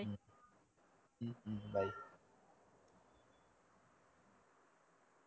உம் உம் bye